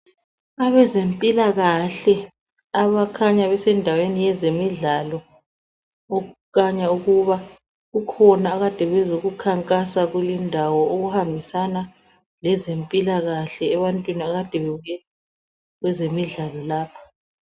abezempilakahle abakhanya besendaweni yezemidlalo okukhanya ukuba kukhona akade bezekukhankasa kulindawo okuhambisana lezempilakahle ebantwini akade bebuye kwezemidlalo lapha